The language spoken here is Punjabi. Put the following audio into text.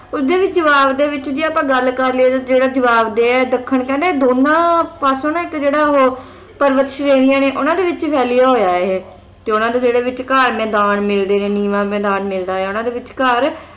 ਉਸਦੇ ਵੀ ਜਵਾਬ ਦੇ ਵਿੱਚ ਆਪਾਂ ਗੱਲ ਕਰ ਲਈਏ ਜਿਹੜਾ ਜਵਾਬ ਦੇਹ ਹੈ ਦੱਖਣ ਕਹਿੰਦਾ ਇਹ ਦੋਨਾਂ ਪਾਸੇ ਨਾ ਇੱਕ ਜਿਹੜਾ ਉਹ ਪਰਬਤ ਸ਼੍ਰੇਣੀਆਂ ਨੇ ਉਹਨਾਂ ਵਿੱਚ ਫੈਲਿਆ ਹੋਇਆ ਇਹ ਤੇ ਉਨ੍ਹਾਂ ਦੇ ਵਿਚਕਾਰ ਨੇ ਮੈਦਾਨ ਨੇੜੇ ਨੇ ਨੀਵਾਂ ਮੈਦਾਨ ਮਿਲਦਾ ਹੈ ਉਨ੍ਹਾਂ ਦੇ ਵਿਚਕਾਰ